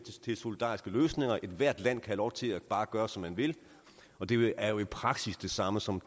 til solidariske løsninger ethvert land kan have lov til bare at gøre som man vil og det er jo i praksis det samme som